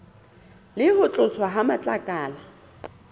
le ho tloswa ha matlakala